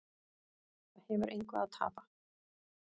Það hefur engu að tapa